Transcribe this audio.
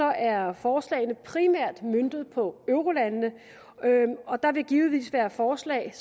er forslagene primært møntet på eurolandene og der vil givetvis være forslag